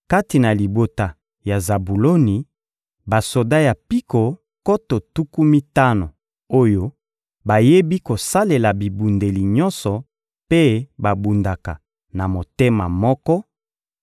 kati na libota ya Zabuloni: basoda ya mpiko nkoto tuku mitano oyo bayebi kosalela bibundeli nyonso mpe babundaka na motema moko;